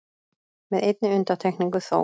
Með einni undantekningu þó